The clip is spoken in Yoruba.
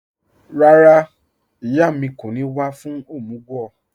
Rárá, ìyà mi kò ní wà fún omúg